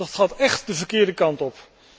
Dat gaat echt de verkeerde kant op.